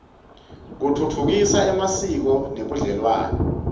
kutfutfukisa emasiko nebudlelwane